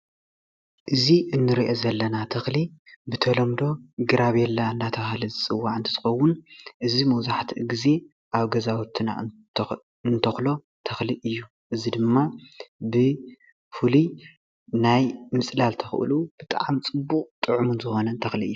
እዚ እንሪኦ ዘለና ተክሊ ብተለምዶ ግራቤላ እናተባሃለ ዝፅዋእ እንትትከውን እዚ መብዛሕትኡ ግዜ ኣብ ገዛውትና እንተክሎ ተክሊ እዩ፡፡ እዚ ድማ ብፉሉይ ናይ ምፅላል ተክእልኡ ብጣዕሚ ፅቡቅን ፅዑምን ዝኮነ ተክሊ እዩ፡፡